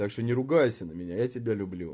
так что не ругайся на меня я тебя люблю